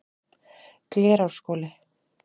Glerárskóli